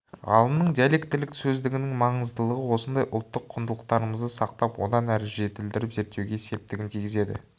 ғалымның диалектілік сөздігінің маңыздылығы осындай ұлттық құндылықтарымызды сақтап одан әрі жетілдіріп зерттеуге септігін тигізеді